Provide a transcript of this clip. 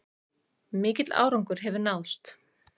Mikill árangur hefur náðst